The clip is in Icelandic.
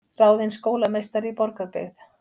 Ráðin skólameistari í Borgarbyggð